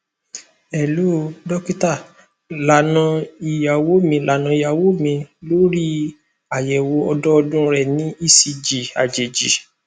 hello dokita lana iyawo mi lana iyawo mi lori ayẹwo ọdọọdun rẹ ni ecg ajeji